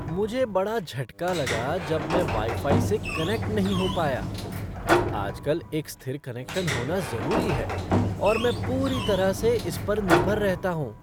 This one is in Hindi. मुझे बड़ा झटका लगा जब मैं वाई फ़ाई से कनेक्ट नहीं हो पाया। आजकल एक स्थिर कनेक्शन होना जरूरी है और मैं पूरी तरह से इस पर निर्भर रहता हूँ।